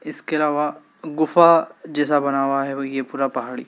इसके अलावा गुफा जैसा बना हुआ है वह ये पूरा पहाड़ी--